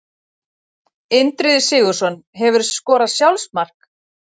Indriði Sigurðsson Hefurðu skorað sjálfsmark?